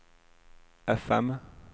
fm